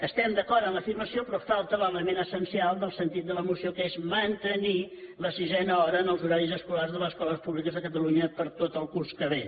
estem d’acord en l’afirmació però falta l’element essencial del sentit de la moció que és mantenirhora en els horaris escolars de les escoles públiques de catalunya per a tot el curs que ve